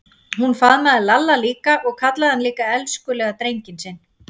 Hún faðmaði Lalla líka og kallaði hann líka elskulega drenginn sinn.